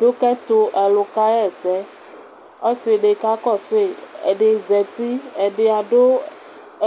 Dʋkʋ ɛtʋ alʋ kaxaɛsɛ kʋ alʋ kakɔsʋ yi, ɛdi zati, ɛdi adʋ